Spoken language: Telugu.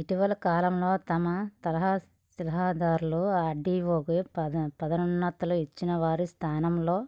ఇటివల కాలంలో తహసీల్దార్లకు ఆర్డీవోగా పదోన్నతులు ఇచ్చి వారి స్థానంలో